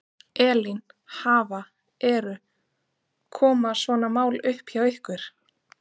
Elín, hafa, eru, koma svona mál upp hjá ykkur?